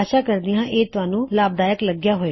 ਆਸ਼ਾ ਕਰਦੀ ਹਾਂ ਕੀ ਤੁਹਾਨੂੰ ਇਹ ਲਾਭਦਾਇਕ ਲਗਿਆ